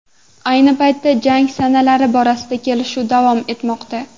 Ayni paytda jang sanalari borasida kelishuv davom etmoqda.